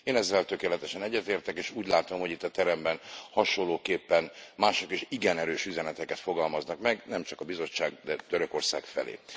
Én ezzel tökéletesen egyetértek, és úgy látom, hogy itt a teremben hasonlóképpen mások is igen erős üzeneteket fogalmaznak meg, nem csak a Bizottság, de Törökország felé.